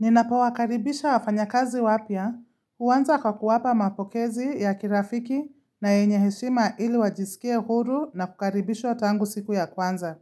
Ninapowakaribisha wafanya kazi wapya, huanza kwa kuwapa mapokezi ya kirafiki na yenye heshima ili wajisikie huru na kukaribisho tangu siku ya kwanza.